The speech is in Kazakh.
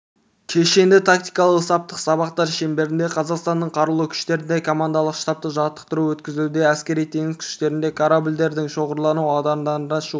кешенді тактикалық-саптық сабақтар шеңберінде қазақстанның қарулы күштерінде командалық-штабтық жаттықтыру өткізілуде әскери-теңіз күштерінде корабльдердің шоғырлану аудандарына шығуы